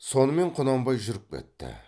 сонымен құнанбай жүріп кетті